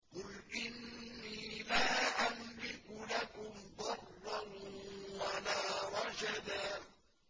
قُلْ إِنِّي لَا أَمْلِكُ لَكُمْ ضَرًّا وَلَا رَشَدًا